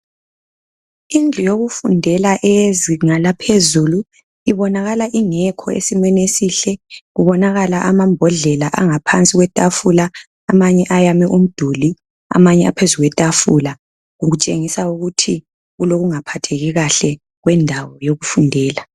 Indlu yokufundela eyezinga laphezulu ibonakala ingekho esimeni esihle , kubonakala amambodlela angaphansi kwetafula amanye ayame umduli amanye aphezu kwetafula , okutshengisa ukuthi kulokungaphatheki kahle kwendawo yokufundela